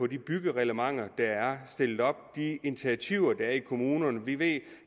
de byggereglementer der er stillet op og de initiativer der er i kommunerne vi ved